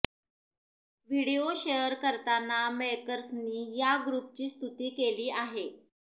video share करताना मेकर्सनी या ग्रुपची स्तुती केली आहे